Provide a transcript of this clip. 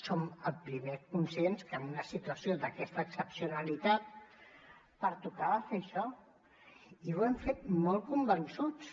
som els primers conscients que en una situació d’aquesta excepcionalitat pertocava fer això i ho hem fet molt convençuts